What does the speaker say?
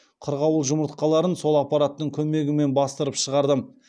қырғауыл жұмыртқаларын сол аппараттың көмегімен бастырып шығардым